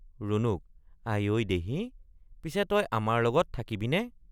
ৰুণুক—আই ঐ দেহি৷ পিছে তই আমাৰ লগত থাকিবিনে?